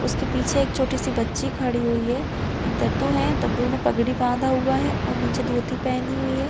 उसके पीछे छोटी -सी बच्ची खड़ी हुई है एक दद्दू है दद्दू ने पगड़ी बांधा हुआ है और नीचे धोती पहनी हुई है ।